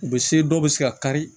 U bɛ se dɔw bɛ se ka kari